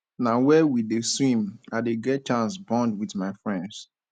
na where we dey swim i dey get chance bond wit my friends